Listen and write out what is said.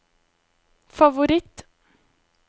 favoritt